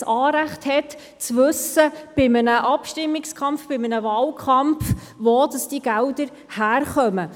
Diese hat ein Anrecht darauf, bei einem Abstimmungs- und Wahlkampf zu erfahren, woher die Gelder kommen.